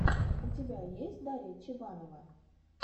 у тебя есть дарья чебанова